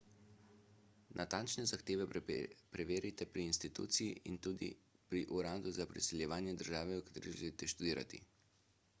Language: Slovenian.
natančne zahteve preverite pri instituciji in tudi pri uradu za priseljevanje države v kateri želite študirati